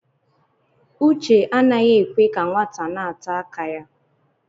Uche anaghị ekwe ka nwata na-ata aka ya.